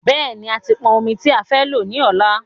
Bẹ́ẹ̀ni,a ti pọn ọmi tí a fẹ́ lò ní ọ̀la